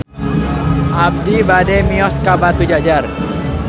Abi bade mios ka Batujajar